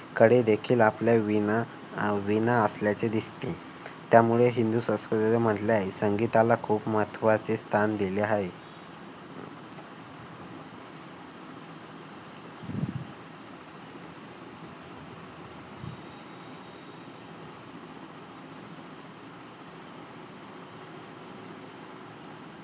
कडेदेखील आपल्या वीणा वीणा असल्याचे दिसते. त्यामुळे हिंदू संस्कृतीत म्हटलं आहे. संगीताला खूप महत्त्वाचे स्थान दिले आहे.